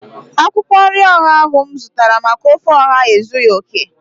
Akwụkwọ nri ọha ahu mụ zụtara maka ofe ọha ezughị okè